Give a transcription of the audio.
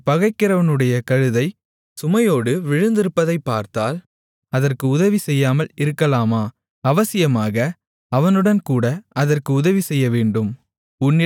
உன்னைப் பகைக்கிறவனுடைய கழுதை சுமையோடு விழுந்திருப்பதைப் பார்த்தால் அதற்கு உதவிசெய்யாமல் இருக்கலாமா அவசியமாக அவனுடன்கூட அதற்கு உதவிசெய்யவேண்டும்